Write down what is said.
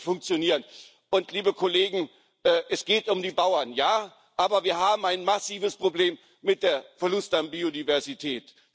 Das kann nicht funktionieren, und liebe Kollegen, es geht um die Bauern, ja, aber wir haben ein massives Problem mit dem Verlust an Biodiversität.